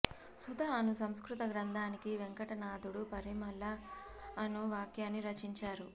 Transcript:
సుధ అను సంస్కృత గ్రంథానికి వేంకటనాధుడు పరిమళ అను వ్యాఖ్యాన్ని రచించారు